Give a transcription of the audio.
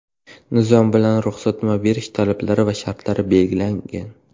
Nizom bilan ruxsatnoma berish talablari va shartlari belgilangan.